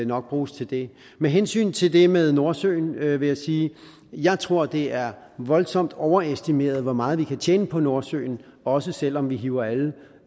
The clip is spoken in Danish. nok bruges til det med hensyn til det med nordsøen vil jeg sige at jeg tror det er voldsomt overestimeret hvor meget vi kan tjene på nordsøen også selv om vi hiver alle